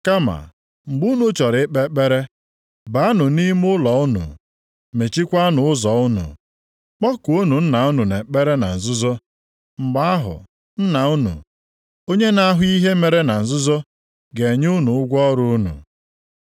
Kama, mgbe unu chọrọ ikpe ekpere, baanụ nʼime ime ụlọ unu. Mechiekwanụ ụzọ unu, kpọkuonụ Nna unu nʼekpere na nzuzo. Mgbe ahụ Nna unu, onye na-ahụ ihe e mere na nzuzo, ga-enye unu ụgwọ ọrụ unu.